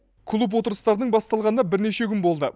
клуб отырыстарының басталғанына бірнеше күн болды